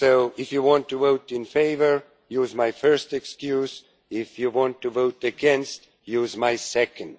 If you want to vote in favour, use my first excuse, if you want to vote, against use my second.